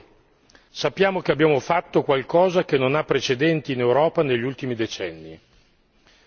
Le leggo Sappiamo che abbiamo fatto qualcosa che non ha precedenti in Europa negli ultimi decenni.